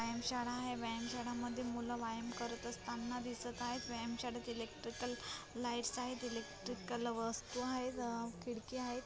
व्यायामशाळा आहे व्यायामशाळामध्ये मुल व्यायाम करत असताना दिसत आहेत व्यायामशाळेतील इलेक्ट्रिकल लाइट्स आहेत इलेक्ट्रिकल वस्तु आहेत अ खिडकी आहे.